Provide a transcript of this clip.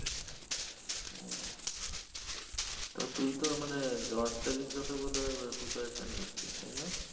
ও তা তুই তো মানে jobs telegraph ও বোধায় preparation নিচ্ছিস, তাইনা?